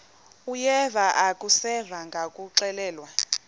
uyeva akuseva ngakuxelelwa